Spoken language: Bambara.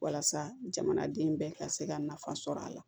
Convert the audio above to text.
Walasa jamanaden bɛɛ ka se ka nafa sɔrɔ a la